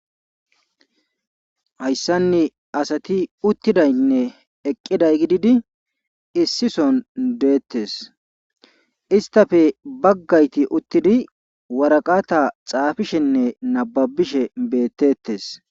Hayssan asati uttidaynne eqqiday gididi issison deetees. Istappe bagayti uttidi waraqata xaafishenne nababishe beeteetes.